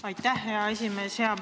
Aitäh, hea esimees!